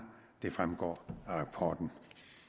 det fremgår af rapporten